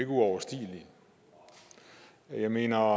uoverstigelige jeg mener